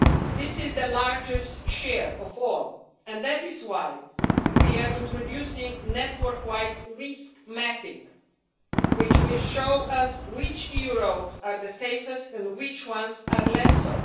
This is the largest share of all, and that is why we are introducing network wide risk mapping which will show us which EU roads are the safest and which ones are less so.